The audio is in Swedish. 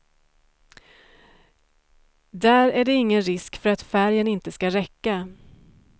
Där är det ingen risk för att färgen inte ska räcka.